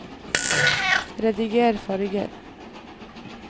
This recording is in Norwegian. rediger farger